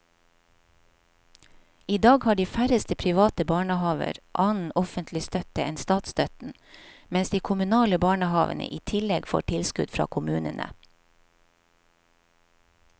I dag har de færreste private barnehaver annen offentlig støtte enn statsstøtten, mens de kommunale barnehavene i tillegg får tilskudd fra kommunene.